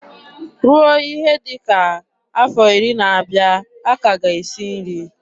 Ruo ihe dị ka afọ iri na-abịa, a ka ga esi nri.